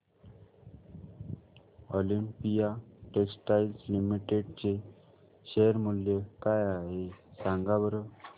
Olympia textiles limited चे share मूल्य काय आहे सांगा बरं